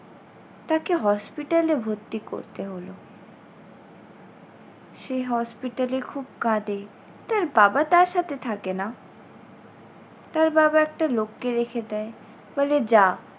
তাকে hospital এ ভর্তি করতে হলো। সে hospital এ খুব কাঁদে তার বাবা তার সাথে থাকে না। তার বাবা একটা লোককে রেখে দেয় বলে, যা